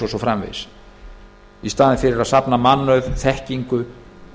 og svo framvegis í staðinn fyrir að safna mannauði þekkingu